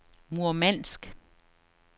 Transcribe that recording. Murmansk